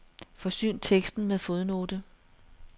Forsyn teksten med fodnote.